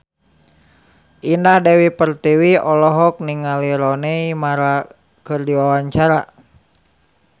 Indah Dewi Pertiwi olohok ningali Rooney Mara keur diwawancara